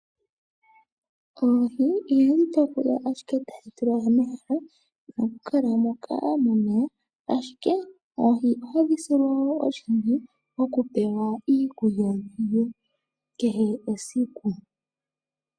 Oohi ihadhi tekulwa ashike tadhi tulwa momahela nokukala moka momeya, ashike oohi ohadhi silwa wo oshimpwiyu okupewa iikulya dhi lye kehe esiku.